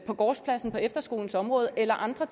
eller gårdspladsen på efterskolens område eller andre